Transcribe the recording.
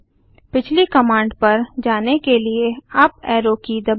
पिछली कमांड पर जाने के लिए अप एरो की दबाएँ